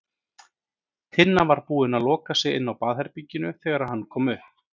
Tinna var búin að loka sig inni á baðherberginu þegar hann kom upp.